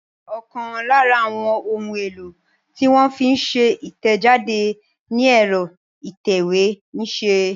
Ọ̀kan lára àwọn ohun-èlò tí wọ́n fi ń ṣe ìtẹ̀jáde ni ẹ̀rọ ìtẹ̀wé ń ṣe.